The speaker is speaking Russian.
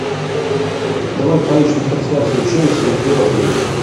давай поищем трансляцию челси и бернли